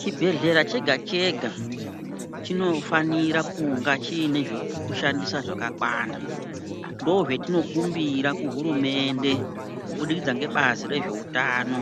Chibhledhlera chega chega chinofanira kunga chiine zvekushandisa zvakakwana ndozvatinokumbira kuhurumende kubudikidza ngebazi rezveutano